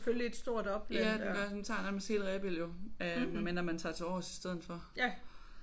Ja den gør. Den tager nærmest hele Rebild jo øh medmindre man tager til Aarhus i stedet for